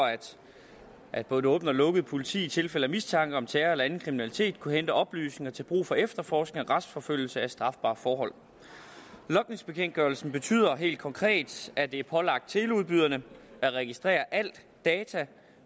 at både det åbne og lukkede politi i tilfælde af mistanke om terror eller anden kriminalitet kunne hente oplysninger til brug for efterforskning og retsforfølgelse af strafbare forhold logningsbekendtgørelsen betyder helt konkret at det er pålagt teleudbyderne at registrere alle data